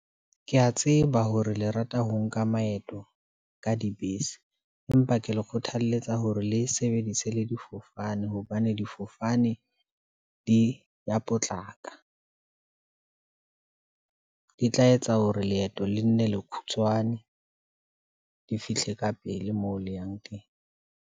Ke ya tseba hore le rata ho nka maeto ka dibese, empa ke le kgothaletsa hore le sebedise le difofane, hobane difofane di e ya potlaka , di tla etsa hore leeto le nne le khutshwane, di fihle ka pele moo le yang teng.